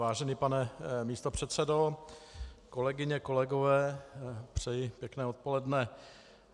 Vážený pane místopředsedo, kolegyně, kolegové, přeji pěkné odpoledne.